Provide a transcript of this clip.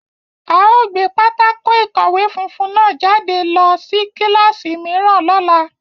A o gbe pátákó-ikọwe funfun náà jade lọ si kilasi miiran lọla